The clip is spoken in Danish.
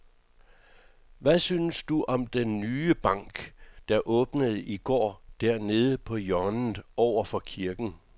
Hvad synes du om den nye bank, der åbnede i går dernede på hjørnet over for kirken?